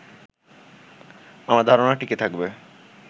আমার ধারনা টিকে থাকবে